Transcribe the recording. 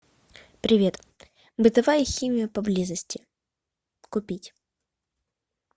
привет бытовая химия поблизости купить